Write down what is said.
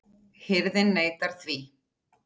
Hirðin neitaði því.